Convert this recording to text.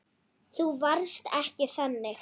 Þú varst ekki þannig.